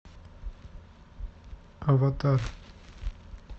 аватар